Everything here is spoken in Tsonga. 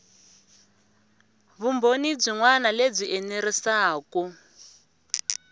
vumbhoni byin wana lebyi enerisaku